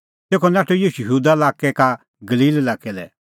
तेखअ नाठअ ईशू यहूदा का गलील लाक्कै लै